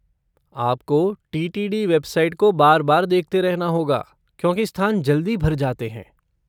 आपको T T D website को बार बार देखते रहना होगा, क्योंकि स्थान जल्दी भर जाते हैं।